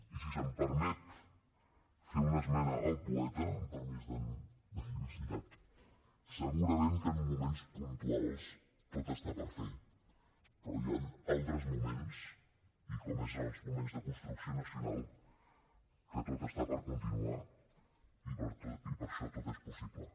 i si se’m permet fer una esmena al poeta amb permís d’en lluís llach segurament que en moments puntuals tot està per fer però hi han altres moments i com és en els moments de construcció nacional que tot està per continuar i per això tot és possible